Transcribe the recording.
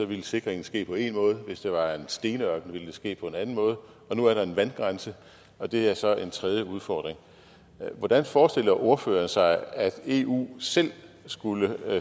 ville sikringen ske på en måde hvis det var en stenørken ville det ske på en anden måde nu er der en vandgrænse og det er så en tredje udfordring hvordan forestiller ordføreren sig at eu selv skulle